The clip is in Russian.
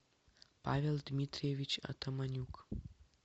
павел дмитриевич атаманюк